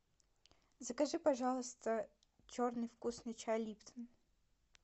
закажи пожалуйста черный вкусный чай липтон